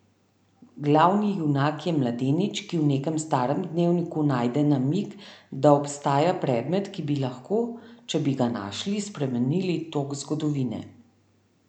Glavni junak je mladenič, ki v nekem starem dnevniku najde namig, da obstaja predmet, ki bi lahko, če bi ga našli, spremenil tok zgodovine.